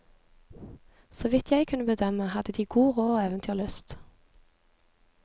Så vidt jeg kunne bedømme, hadde de god råd og eventyrlyst.